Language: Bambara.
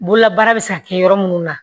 Bololabaara bɛ se ka kɛ yɔrɔ minnu na